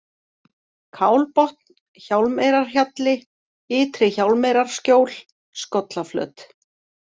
Kálbotn, Hjálmeyrarhjalli, Ytri-Hjálmeyrarskjól, Skollaflöt